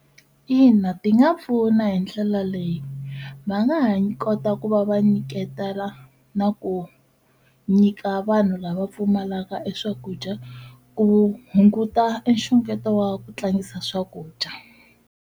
Ina ti nga pfuna hi ndlela leyi va nga ha kota ku va va nyiketela na ku nyika vanhu lava pfumalaka e swakudya ku hunguta e nxungeto wa ku tlangisa swakudya.